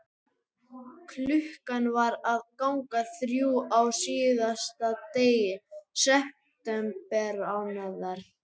Klukkan var að ganga þrjú á síðasta degi septembermánaðar.